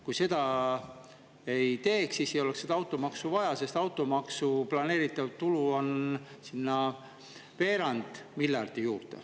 Kui seda ei tehtaks, siis ei oleks automaksu vaja, sest automaksu planeeritav tulu on veerand miljardi euro juures.